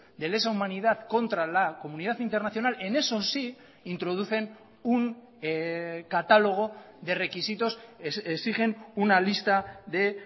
de lesa humanidad contra la comunidad internacional en esos sí introducen un catálogo de requisitos exigen una lista de